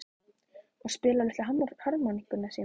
Og spila á litlu harmónikkuna sína?